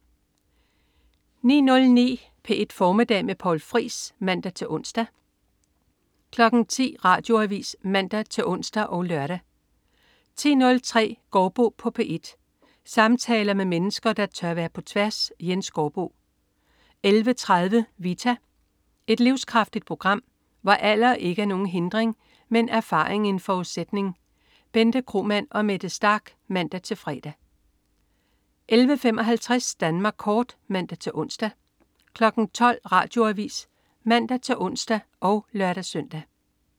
09.09 P1 Formiddag med Poul Friis (man-ons) 10.00 Radioavis (man-ons og lør) 10.03 Gaardbo på P1. Samtaler med mennesker, der tør være på tværs. Jens Gaardbo 11.30 Vita. Et livskraftigt program, hvor alder ikke er nogen hindring, men erfaring en forudsætning. Bente Kromann og Mette Starch (man-fre) 11.55 Danmark kort (man-ons) 12.00 Radioavis (man-ons og lør-søn)